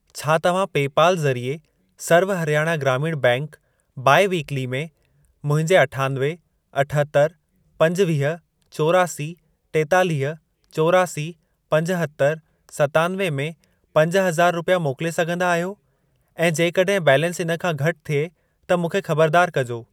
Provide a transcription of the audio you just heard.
छा तव्हां पे पल ज़रिए सर्व हरयाणा ग्रामीण बैंक बाई वीक्ली में मुंहिंजे अठानवे, अठहतरि, पंजुवीह, चोरासी, टेतालीह, चोरासी, पंजहतरि, सतानवे में पंज हज़ार रुपिया मोकिले सघंदा आहियो ऐं जेकॾहिं बैलेंस इन खां घटि थिए त मूंखे खबरदार कजो।